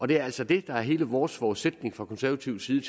det er altså det der er hele vores forudsætning fra konservativ side